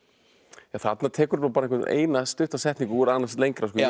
þarna tekurðu eina stutta setningu úr annars lengra en